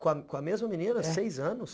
Com a mesma menina, seis anos?